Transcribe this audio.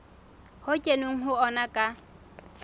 ho kenweng ho ona ka